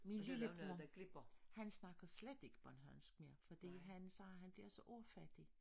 Min lillebror han snakker slet ikke bornholmsk mere fordi han siger han bliver så ordfattig